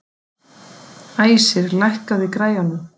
Æsir, lækkaðu í græjunum.